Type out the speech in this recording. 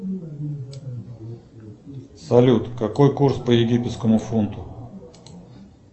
салют какой курс по египетскому фунту